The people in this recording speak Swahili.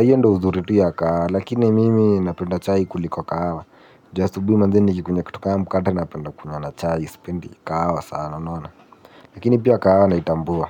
hiyo ndio uzuri tu ya kahawa. Lakini mimi napenda chai kuliko kahawa. Ju asubihi manze nikikunywa kitu kama mkate napenda kunywa na chai sipendi kahawa sana unaona. Lakini pia kahawa naitambua.